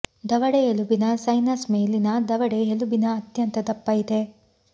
ದವಡೆ ಎಲುಬಿನ ಸೈನಸ್ ಮೇಲಿನ ದವಡೆ ಎಲುಬಿನ ಅತ್ಯಂತ ದಪ್ಪ ಇದೆ